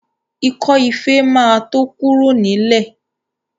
Ikọ́ ife ma tó kúrò nílẹ̀